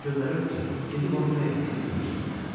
Adam göndərirdi ki, gedib onun nə etdiyini görsün.